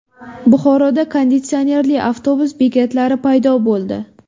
Buxoroda konditsionerli avtobus bekatlari paydo bo‘ldi.